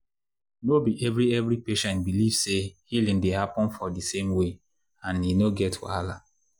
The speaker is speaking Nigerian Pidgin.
no be every every patient believe say healing dey happen for di same way and e no get wahala.